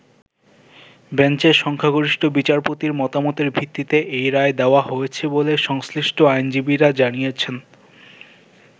বেঞ্চে সংখ্যাগরিষ্ঠ বিচারপতির মতামতের ভিত্তিতে এই রায় দেওয়া হয়েছে বলে সংশ্লিষ্ট আইনজীবীরা জানিয়েছেন।